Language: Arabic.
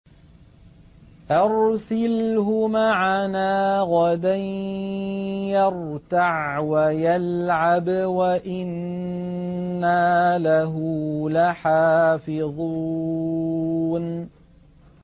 أَرْسِلْهُ مَعَنَا غَدًا يَرْتَعْ وَيَلْعَبْ وَإِنَّا لَهُ لَحَافِظُونَ